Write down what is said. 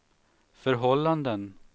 förhållanden